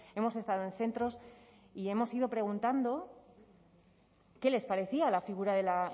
hemos estado en centros y hemos ido preguntando qué les parecía la figura del